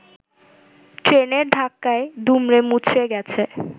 ট্রেনের ধাক্কায় দুমড়েমুচড়ে গেছে